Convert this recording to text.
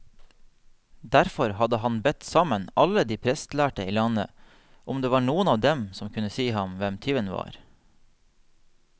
Derfor hadde han bedt sammen alle de prestlærde i landet, om det var noen av dem som kunne si ham hvem tyven var.